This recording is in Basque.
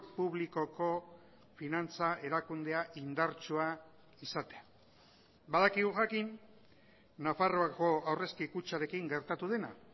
publikoko finantza erakundea indartsua izatea badakigu jakin nafarroako aurrezki kutxarekin gertatu dena